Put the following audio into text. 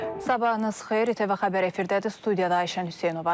Sabahınız xeyir, İTV Xəbər efirdədir, studiyada Ayşən Hüseynovadır.